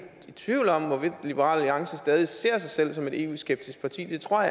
i tvivl om hvorvidt liberal alliance stadig ser sig selv som et eu skeptisk parti jeg tror